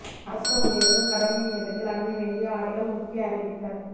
அரச ஊழியர்கள் கடமை நேரத்தில் அணிய வேண்டிய ஆடைகள் முக்கிய அறிவித்தல்